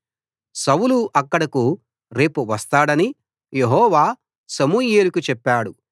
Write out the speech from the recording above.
సౌలు అక్కడకు రేపు వస్తాడని యెహోవా సమూయేలుకు చెప్పాడు